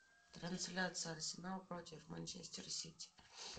трансляция арсенал против манчестер сити